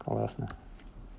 классно